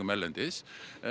erlendis